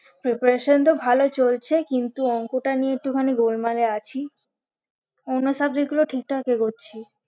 Preparation তো ভালো চলছে কিন্তু অংকটা নিয়ে একটুখানি গোলমালে আছি অন্য subject গুলো ঠিকঠাক এগোচ্ছি